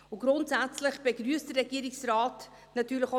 Grundsätzlich begrüsst der Regierungsrat diese Annäherung natürlich auch.